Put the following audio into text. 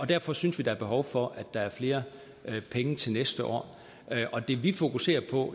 derfor synes vi der er behov for at der er flere penge til næste år og det vi fokuserer på